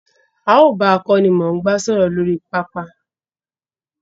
A ó bà akónimòngbá sòrò lórí pápá